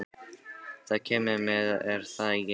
Þú kemur með, er það ekki?